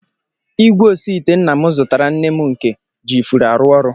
Igwe osiite nna m zụtaara nne m nke ji ifuru arụ ọrụ